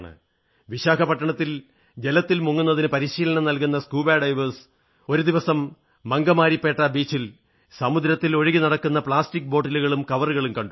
വിശാഖപട്ടണത്ത് ജലത്തിൽ മുങ്ങുന്നതിന് പരിശീലനം നല്കുന്ന സ്കൂബാ ഡൈവേഴ്സ് ഒരു ദിവസം മംഗമാരിപ്പേട്ട ബീച്ചിൽ സമുദ്രത്തിൽ ഒഴുകിനടക്കുന്ന പ്ലാസ്റ്റിക് ബോട്ടിലുകളും കവറുകളും കണ്ടു